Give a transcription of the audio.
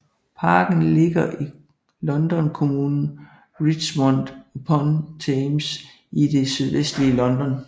Parken ligger i London kommunen Richmond upon Thames i det sydvestlige London